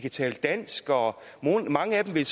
at tale dansk og mange af dem